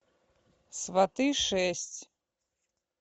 сваты шесть